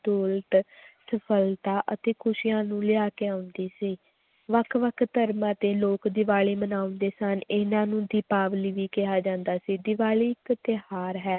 ਦੌਲਤ, ਸਫ਼ਲਤਾ ਅਤੇ ਖ਼ੁਸ਼ੀਆਂ ਨੂੰ ਲੈ ਕੇ ਆਉਂਦੀ ਸੀ, ਵੱਖ ਵੱਖ ਧਰਮਾਂ ਦੇ ਲੋਕ ਦੀਵਾਲੀ ਮਨਾਉਂਦੇ ਸਨ, ਇਹਨਾਂ ਨੂੰ ਦੀਪਾਵਲੀ ਵੀ ਕਿਹਾ ਜਾਂਦਾ ਸੀ ਦੀਵਾਲੀ ਇੱਕ ਤਿਉਹਾਰ ਹੈ l